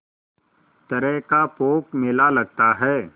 तरह का पोंख मेला लगता है